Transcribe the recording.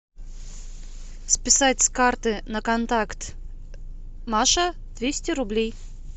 списать с карты на контакт маша двести рублей